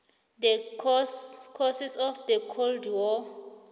the causes of the cold war